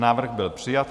Návrh byl přijat.